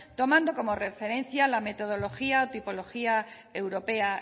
tomando como referencia la metodología o tipología europea